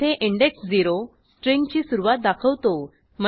येथे इंडेक्स 0 स्ट्रिंगची सुरूवात दाखवतो